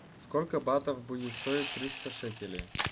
сколько батов будет стоить триста шекелей